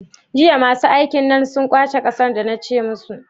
Jiya masu aikin nan sun kwashe ƙasar da na ce musu?